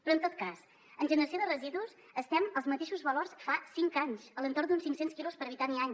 però en tot cas en generació de residus estem als mateixos valors fa cinc anys a l’entorn d’uns cinc cents quilos per habitant i any